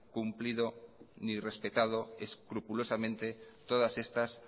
cumplido ni respetado escrupulosamente todas estas